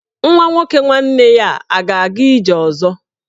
Nwa nwoke nwanne ya a ga-aga ije ọzọ?